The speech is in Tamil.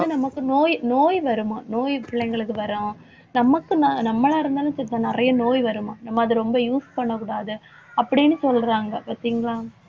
வந்து நமக்கு நோய் நோய் வருமாம். நோய் பிள்ளைங்களுக்கு வரும் தமக்கு ந~ நம்மளா இருந்தாலும் சரிதான் நிறைய நோய் வருமாம். நம்ம அதை ரொம்ப use பண்ணக்கூடாது. அப்படின்னு சொல்றாங்க பார்த்தீங்களா